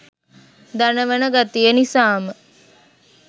දනවන ගතිය නිසාම.